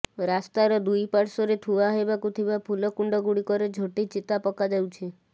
ରାସ୍ତାର ଦୁଇ ପାର୍ଶ୍ୱରେ ଥୁଆ ହେବାକୁ ଥିବା ଫୁଲ କୁଣ୍ଡଗୁଡ଼ିକରେ ଝୋଟି ଚିତା ପକା ଯାଉଛି